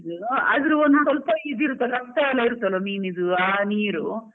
ಅದ್ರ್ ಒಂದು ಸ್ವಲ್ಪ ಇದು ಇರುತ್ತೆ ಅಲ್ವ ರಕ್ತ ಎಲ್ಲ ಇರುತ್ತೆ ಅಲ ಮೀನ್ ಇದ್ದು ಆ ನೀರು.